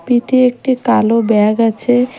পিঠে একটি কালো ব্যাগ আছে।